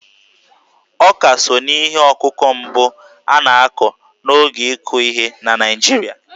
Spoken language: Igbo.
Ọká so n'ihe ọkụkụ mbụ a na-akụ n'oge ịkụ ihe na Naịjirịa..